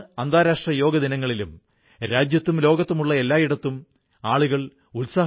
ഇതുപോലെ സിഖുകാരുടെ പുണ്യസ്ഥലങ്ങളിൽ നാന്ദേഡ് സാഹിബ് പട്നാ സാഹിബ് ഗുരുദ്വാരകൾ ഉൾപ്പെടുന്നു